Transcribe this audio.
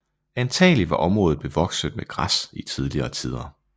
Antagelig var området bevokset med græs i tidligere tider